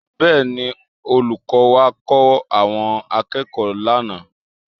Bẹ́ẹ̀ni, olùkọ́ wá kọ́ àwọn akẹ́kọ̀ọ́ lánàá